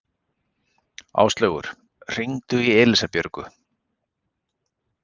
Áslaugur, hringdu í Elísabjörgu.